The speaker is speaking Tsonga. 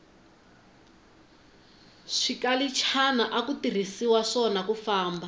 swikalichana aku tirhiswa swona kufamba